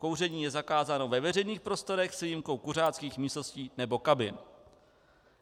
Kouření je zakázáno ve veřejných prostorách s výjimkou kuřáckých místností nebo kabin.